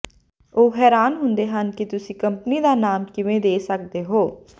ਉਹ ਹੈਰਾਨ ਹੁੰਦੇ ਹਨ ਕਿ ਤੁਸੀਂ ਕੰਪਨੀ ਦਾ ਨਾਮ ਕਿਵੇਂ ਦੇ ਸਕਦੇ ਹੋ